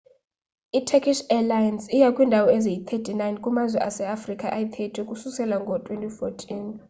i-turkish airlines iya kwiindawo eziyi-39 kumazwe aseafrika ayi-30 ukususela ngo-2014